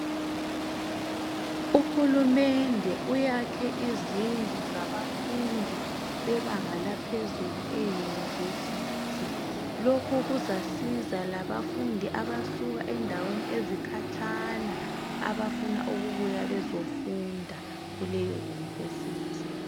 Uhulumende uyakhe izindlu zabafundi bebanga laphezulu e university lokhu kuzasiza labafundi abasuka endaweni ezikhatshana abafuna ukubuya bezofunda kuleyo university